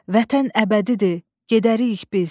Vətən əbədidir, gedərik biz.